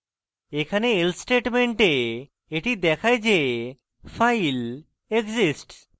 এখানে else statement এটি দেখায় যে file exists